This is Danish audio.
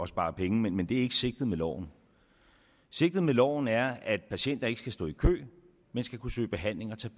spare penge men det er ikke sigtet med loven sigtet med loven er at patienter ikke skal stå i kø men skal kunne søge behandling og tage